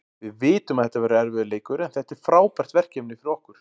Við vitum að þetta verður erfiður leikur, en þetta er frábært verkefni fyrir okkur.